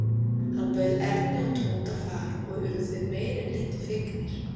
Hann bauð Erni og Tóta far og urðu þeir meira en lítið fegnir.